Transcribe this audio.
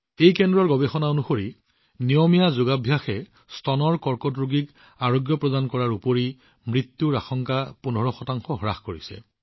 এই কেন্দ্ৰৰ গৱেষণা অনুসৰি নিয়মীয়া যোগাভ্যাসে স্তন কৰ্কট ৰোগীৰ পুনৰাবৃত্তি আৰু মৃত্যুৰ আশংকা ১৫ শতাংশ হ্ৰাস কৰিছে